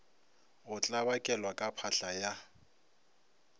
go tlabakelwa ka phahla ya